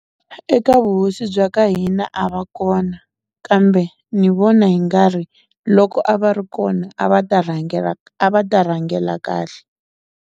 Eka vuhosi bya ka hina a va kona, kambe ni vona hi nga ri loko a va ri kona a va ta rhangela a va ta rhangela kahle.